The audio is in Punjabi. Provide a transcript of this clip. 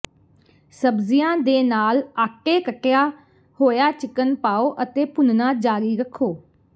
ਸਬਜ਼ੀਆਂ ਦੇ ਨਾਲ ਆਟੇ ਕੱਟਿਆ ਹੋਇਆ ਚਿਕਨ ਪਾਓ ਅਤੇ ਭੁੰਨਣਾ ਜਾਰੀ ਰੱਖੋ